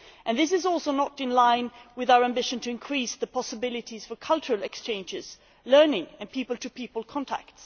This is also not in line with our ambition to increase possibilities for cultural exchanges, learning and people to people contact.